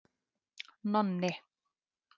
Nonni